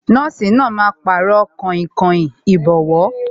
Nọ́ọ̀sì náà máa Pàrọ̀ kainkain ìbọ́wọ́